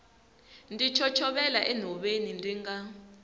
ndzi chochovela enhoveni ndzi nga